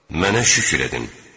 Mənə şükür edin.